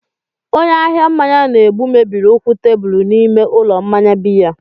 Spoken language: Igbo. Onye ahịa mmanya na-egbu mebiri ụkwụ tebụl n'ime ụlọ mmanya biya.